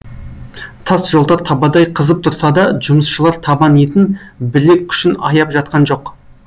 тас жолдар табадай қызып тұрса да жұмысшылар табан етін білек күшін аяп жатқан жоқ